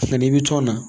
Nka n'i bɛ tɔn na